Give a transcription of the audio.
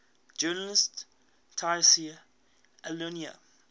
journalist tayseer allouni